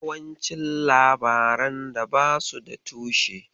Yawancin labaran da basu da tushe.